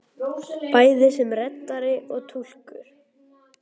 Bæði sem reddari og túlkur!